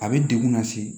A bɛ degun lase